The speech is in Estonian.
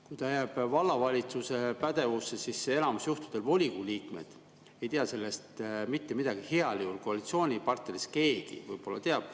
Kui ta jääb vallavalitsuse pädevusse, siis enamus juhtudel volikogu liikmed ei tea sellest mitte midagi, heal juhul koalitsioonipartneritest keegi võib‑olla teab.